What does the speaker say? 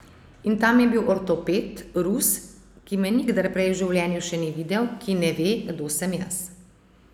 In tam je bil ortoped, Rus, ki me nikdar prej v življenju še ni videl, ki ne ve, kdo sem jaz.